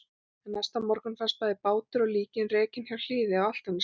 En næsta morgun fannst bæði bátur og líkin rekin hjá Hliði á Álftanesi.